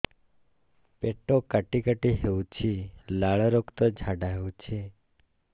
ପେଟ କାଟି କାଟି ହେଉଛି ଲାଳ ରକ୍ତ ଝାଡା ହେଉଛି